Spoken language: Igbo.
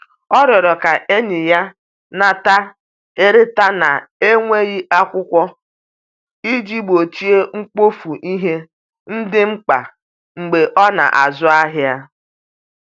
ọ riorọ ka enye ya nnata/ereta na nweghi akwụkwo iji gbochie mgbofu ihe ndi mkpa mgbe ọ na azụ ahia